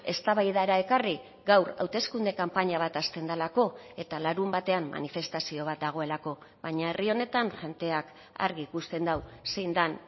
eztabaidara ekarri gaur hauteskunde kanpaina bat hasten delako eta larunbatean manifestazio bat dagoelako baina herri honetan jendeak argi ikusten du zein den